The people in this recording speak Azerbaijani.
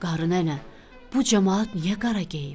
Qarı nənə, bu camaat niyə qara geyib?